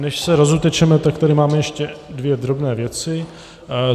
Než se rozutečeme, tak tady mám ještě dvě drobné věci.